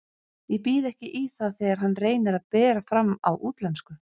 Ég býð ekki í það þegar hann reynir að bera fram á útlensku.